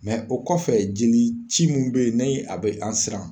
Mɛ o kɔfɛ jeli ci min be yen ni a be an siran